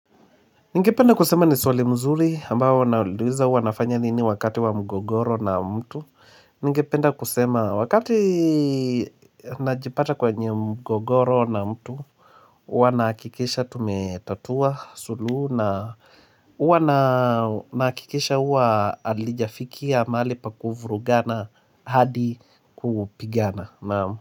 Ningependa kusema ni swali mzuri ambao naulizwa nafanya nini wakati wa mgogoro na mtu Ningependa kusema wakati najipata kwa eneo mgogoro na mtu Uwa nahakikisha tumetatua suluhu na uwa nahakisha uwa alijafika mahali pa kuvurugana hadi kupigana naam.